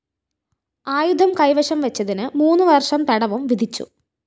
ആയുധം കൈവശം വെച്ചതിന് മൂന്ന് വര്‍ഷം തടവും വിധിച്ചു